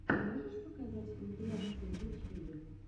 можешь показать компиляции в ютьюбе